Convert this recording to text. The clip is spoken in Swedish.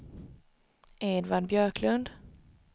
Edvard Björklund